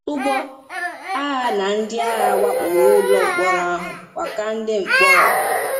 Ụgbọ agha na ndị agha wakporo ụlọ mkpọrọ ahụ, wakwa ndị mkpọrọ.